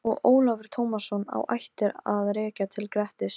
Eitt þessara orða á vörum fullorðna fólksins var stekkur.